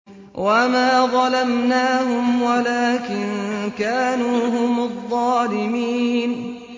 وَمَا ظَلَمْنَاهُمْ وَلَٰكِن كَانُوا هُمُ الظَّالِمِينَ